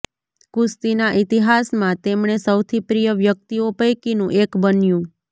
કુસ્તીના ઇતિહાસમાં તેમણે સૌથી પ્રિય વ્યક્તિઓ પૈકીનું એક બન્યું